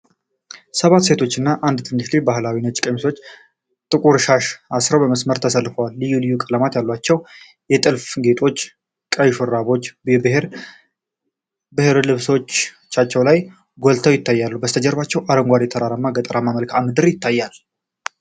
ሰባት ሴቶችና አንድ ትንሽ ልጅ ባህላዊ ነጭ ቀሚሶችና ጥቁር ሻሽ አሥረው በመስመር ተሰልፈዋል። ልዩ ልዩ ቀለማት ያሏቸው የጥልፍ ጌጦች፣ ቀይ ሹራቦችና የብር ሐብሎች በልብሳቸው ላይ ጎልተው ይታያሉ። ከበስተጀርባ አረንጓዴ ተራራማ ገጠራማ መልክዓ ምድር ይታያል።